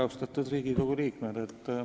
Austatud Riigikogu liikmed!